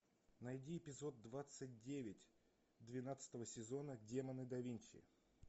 найди эпизод двадцать девять двенадцатого сезона демоны да винчи